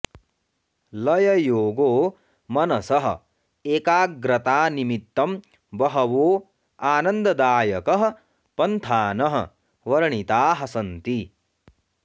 लययोगो मनसः एकाग्रतानिमित्तं वहवो आनन्ददायकः पन्थानः वर्णिताः सन्ति